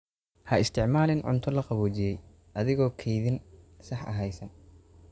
Ha isticmaalin cunto la qaboojiyey adigoon kaydin sax ah haysan.